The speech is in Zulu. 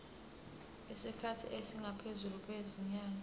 isikhathi esingaphezulu kwezinyanga